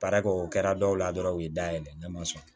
Baara kɛ o kɛra dɔw la dɔrɔn u ye dayɛlɛ ne ma sɔn